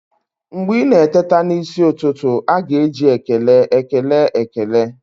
Mgbe ị na-eteta n'isi ụtụtụ, a ga-eji ekele ekele ekele